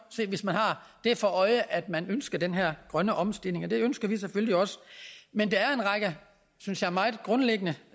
hvis man har for øje at man ønsker den her grønne omstilling og det ønsker vi selvfølgelig også men der er en række synes jeg meget grundlæggende